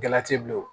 Galati bilen o